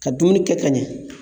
Ka dumuni kɛ ka ɲɛ